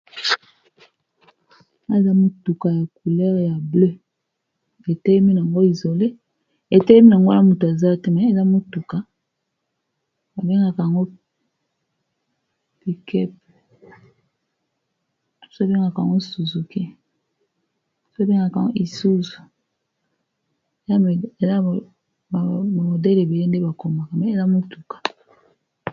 Namoni mutuka ya couleur ya bleu etelemi nango isolé etelemi nango wana mutu aza te mais na mutuka babengaka yango pick-up misusu babengaka yango Suzuki misusu babengaka yango Isuzu modèle ebele ndenge bakoma mais eza mutuka.